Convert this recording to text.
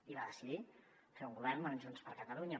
i va decidir fer un govern amb junts per catalunya